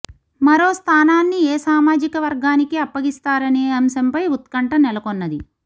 మరోస్థానాన్ని ఏసామాజిక వర్గానికి అప్ప గిస్తారనే అంశంపై ఉత్కంఠ నెలకొన్నది